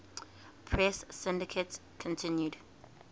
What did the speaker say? press syndicate continued